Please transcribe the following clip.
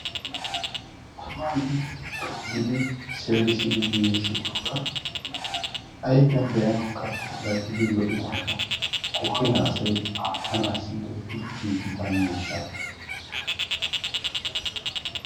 Taman nuun xuugidi seerissidi giigissidooga ayfiyaan be'anawukka puulatidi lo"idaaga qooriyaa asay aatanassi giigida miishsha.